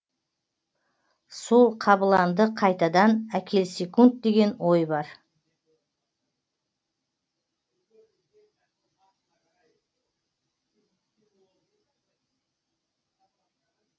сол қабыланды қайтадан әкелсекунд деген ой бар